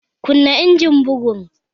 Kunna injimin bugun!